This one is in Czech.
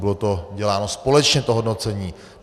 Bylo to děláno společně, to hodnocení.